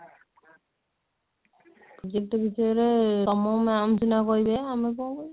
project ବିଷୟରେ ତମ ma'am ସିନା କହିବେ ଆମେ କଣ କହିବୁ